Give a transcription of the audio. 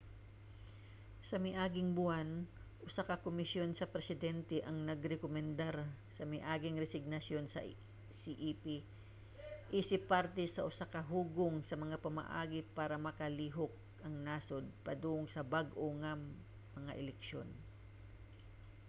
sa miaging buwan usa ka komisyon sa presidente ang nagrekomendar sa miaging resignasyon sa cep isip parte sa usa ka hugpong sa mga pamaagi para makalihok ang nasod padung sa bag-o nga mga eleksyon